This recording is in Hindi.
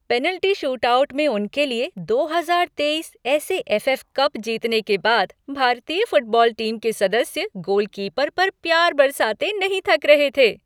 पेनल्टी शूटआउट में उनके लिए दो हजार तेईस S A F F cup जीतने के बाद भारतीय फुटबॉल टीम के सदस्य गोलकीपर पर प्यार बरसाते नहीं थक रहे थे।